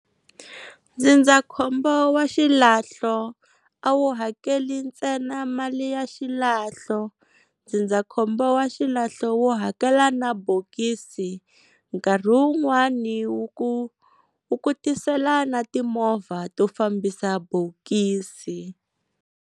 Ndzindzakhombo wa xilahlo a wu hakeli ntsena mali ya xilahlo, ndzindzakhombo wa xilahlo wu hakela na bokisi nkarhi wun'wani wu ku wu ku tisela na movha to fambisa bokisi.